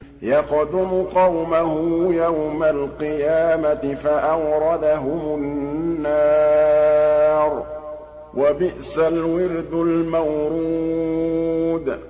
يَقْدُمُ قَوْمَهُ يَوْمَ الْقِيَامَةِ فَأَوْرَدَهُمُ النَّارَ ۖ وَبِئْسَ الْوِرْدُ الْمَوْرُودُ